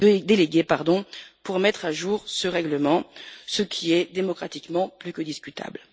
délégué pour mettre à jour ce règlement, ce qui est démocratiquement plus que discutable.